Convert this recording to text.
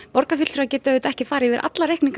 borgarfulltrúar geta ekki farið yfir alla reikninga